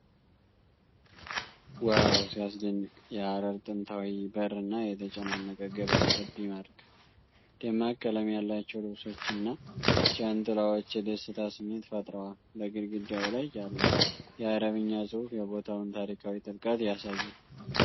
ዋው፣ ሲያስደንቅ! የሐረር ጥንታዊ በርና የተጨናነቀ ገበያ ልብ ይማርካል። ደማቅ ቀለም ያላቸው ልብሶችና ጃንጥላዎች የደስታ ስሜት ፈጥረዋል። በግድግዳው ላይ ያለው የአረብኛ ጽሑፍ የቦታውን ታሪካዊ ጥልቀት ያሳያል።